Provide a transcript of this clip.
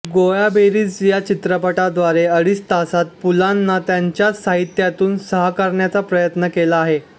गोळाबेरीज या चित्रपटाद्वारे अडीच तासांत पुलंना त्यांच्याच साहित्यातून साकारण्याचा प्रयत्न केला आहे